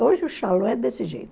Hoje o é desse jeito.